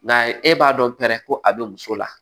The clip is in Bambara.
Nka e b'a dɔn pɛrɛ ko a bɛ muso la